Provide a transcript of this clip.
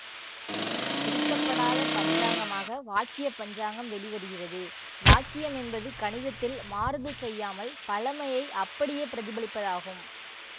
திருத்தப்படாத பஞ்சாங்கமாக வாக்கிய பஞ்சாங்கம் வெளிவருகிறது வாக்கியம் என்பது கணிதத்தில் மாறுதல் செய்யாமல் பழமையை அப்படியே பிரதிபலிப்பதாகும்